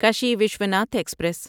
کشی وشوناتھ ایکسپریس